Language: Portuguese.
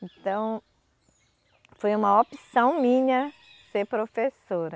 Então, foi uma opção minha ser professora.